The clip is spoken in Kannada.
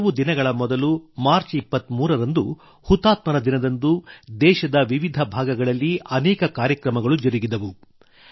ಕೆಲವು ದಿನಗಳ ಮೊದಲು ಮಾರ್ಚ್ ೨೩ರಂದು ಹುತಾತ್ಮರ ದಿನದಂದು ದೇಶದ ವಿವಿಧ ಭಾಗಗಳಲ್ಲಿ ಅನೇಕ ಕಾರ್ಯಕ್ರಮಗಳು ಜರುಗಿದವು